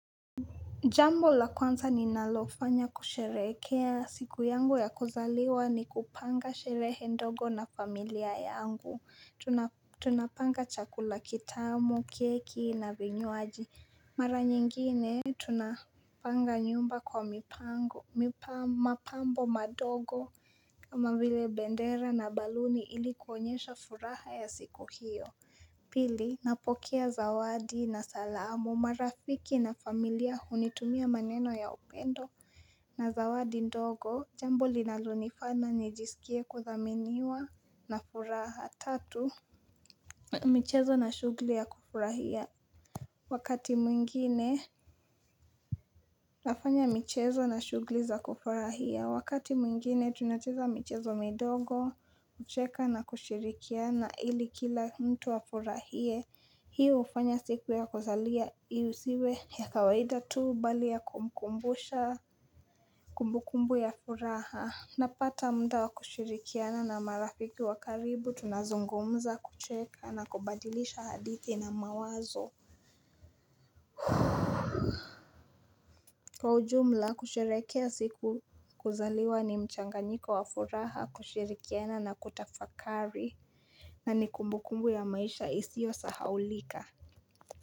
Jambo la kwanza ni nalofanya kusherehekea siku yangu ya kuzaliwa ni kupanga sherehe ndogo na familia yangu, tunapanga chakula kitamu, keki na vinywaji, mara nyingine tunapanga nyumba kwa mapambo madogo kama vile bendera na baluni ilikuonyesha furaha ya siku hiyo Pili napokea zawadi na salamu marafiki na familia hunitumia maneno ya upendo na zawadi ndogo jambo linalonifanya nijisikie kuthaminiwa na furaha, tatu michezo na shugli ya kufurahia wakati mwingine Tafanya michezo na shugli za kufurahia wakati mwingine tunacheza michezo midogo kucheka na kushirikiana ili kila mtu afurahie hiyo hufanya siku ya kuzalia isiwe ya kawaida tu bali ya kumkumbusha kumbukumbu ya furaha Napata muda wa kushirikiana na marafiki wakaribu tunazungumza kucheka na kubadilisha hadithi na mawazo Kwa ujumla kusherehekea siku kuzaliwa ni mchanganyiko wa furaha kushirikiana na kutafakari na ni kumbu kumbu ya maisha isiyo sahaulika.